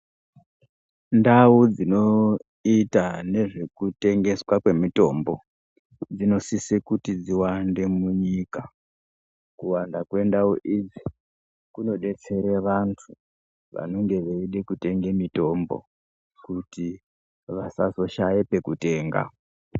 Ndau dzinoita nezvekutengeswa kwemitombo dzinosisa kuti dziwande munyika kuwanda kwendau idzi kunodetsera vantu vanonga veide kutenga mutombo kuti vasazoshaye pekutenga.